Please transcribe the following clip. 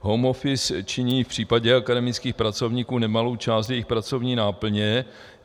Home office činí v případě akademických pracovníků nemalou část jejich pracovní náplně.